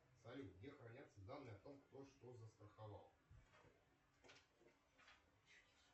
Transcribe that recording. салют где хранятся данные о том кто что застраховал